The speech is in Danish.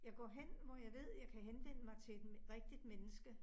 Jeg går hen, hvor jeg ved jeg kan henvende mig til et rigtigt menneske